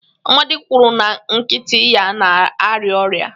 Amadi kwuru na nkịta ya na-arịa ọrịa.